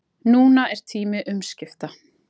Núna er tími umskipta